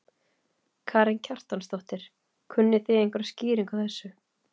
Karen Kjartansdóttir: Kunnið þið einhverjar skýringar á þessu?